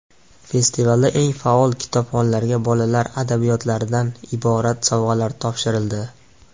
Festivalda eng faol kitobxonlarga bolalar adabiyotlaridan iborat sovg‘alar topshirildi.